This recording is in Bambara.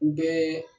U bɛɛ